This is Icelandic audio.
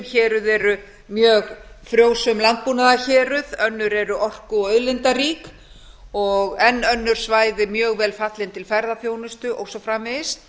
héruð eru mjög frjósöm landbúnaðarhéruð önnur eru orku og auðlindarík og enn önnur svæði mjög vel fallin til ferðaþjónustu og svo framvegis